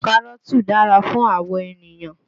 Kárọ́ọ̀tì dára fún àwọ̀ ènìyàn